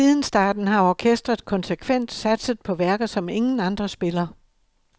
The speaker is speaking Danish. Siden starten har orkestret konsekvent satset på værker, som ingen andre spiller.